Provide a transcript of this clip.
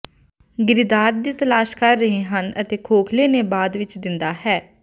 ਗਿਰੀਦਾਰ ਦੀ ਤਲਾਸ਼ ਕਰ ਰਹੇ ਹਨ ਅਤੇ ਖੋਖਲੇ ਨੇ ਬਾਅਦ ਵਿੱਚ ਦਿੰਦਾ ਹੈ